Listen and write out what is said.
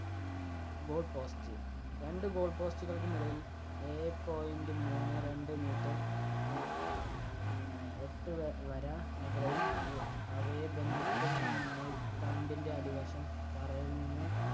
Goal Post. രണ്ട് goal post കൾക്കുമിടയിൽ ഏഴേ point മൂന്നേ രണ്ട് meter എ ആഹ് ഉം എട്ട് വ~വര അകവും ഇ അവയെ ബന്ധിപ്പിക്കുന്ന മുൾതണ്ടിൻ്റെ അടിവശം തറയിൽ നിന്ന്